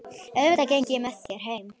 Auðvitað geng ég með þér heim